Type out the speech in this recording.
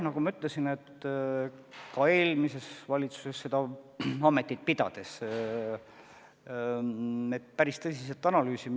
Nagu ma ütlesin, ma ka eelmises valitsuses seda ametit pidades pidasin vajalikuks päris tõsiselt olukorda analüüsida.